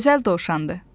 Gözəl dovşandır.